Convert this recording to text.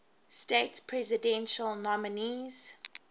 states presidential nominees